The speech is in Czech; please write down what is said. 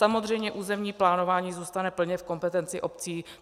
Samozřejmě územní plánování zůstane plně v kompetenci obcí.